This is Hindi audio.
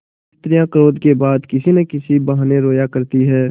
स्त्रियॉँ क्रोध के बाद किसी न किसी बहाने रोया करती हैं